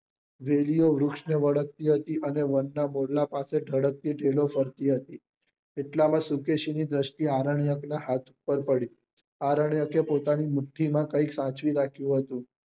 વેલી ઓ વૃક્ષ ને વળગતી હતી અને વન નાં મોરલા પાસે ઢળકતી ઢેલો ફરતી હતી એટલા માં શુકેશી ની દ્રષ્ટિ આરન્ક્ય નાં હાથ પર પડી આરન્ક્ય એ પોતાની મુઠી માં કઈક સાચવી રાખ્યું હતું